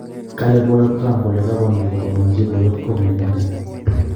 kale poyoot Trump kole kagonkee kotononsie poyoot Comey inendet